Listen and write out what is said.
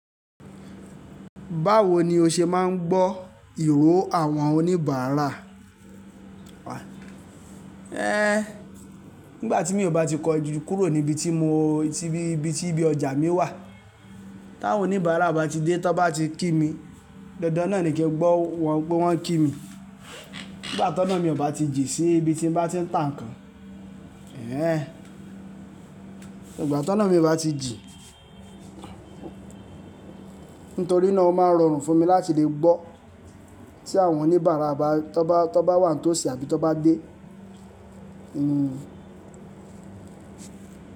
Báwo ni o ṣe máa ń gbọ́ ìró àwọn oníbàárà? Nígbà tí mi ò bá ti kọjú kúrò níbi tí mo, níbi tí ibi ti ọjà mi wà, tawon òníbàárà bá ti dé, tón bá ti kí mi, dandan náà ni kí n gbọ́ wọ́n pé wọ́n ń kí mi. Nígbà toná mi ò bá ti jìn sí ibi tí n bá ti ń tà nǹkan, nígbà tó náà mi ò bá ti jì, nítorí náà o máa ń rọrùn fún mi láti lè gbọ́ tí àwọn oníbàárà bá, tón bá, tón bá wà ní tòsí àbí tón bá dé.